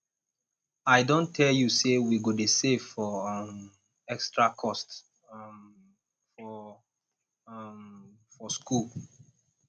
i don tell you sey we go dey save for um extra cost um for um for skool